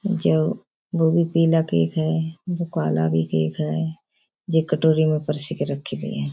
जो वो भी पीला केक है वो काला भी केक है जे कटोरी में पर्सी के रखी गई हैं।